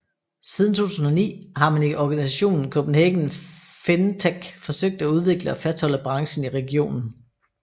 Siden 2009 har man i organisationen Copenhagen FinTech forsøgt at udvikle og fastholde branchen i regionen